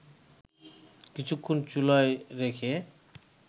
কিছুক্ষণ চুলায় রেখে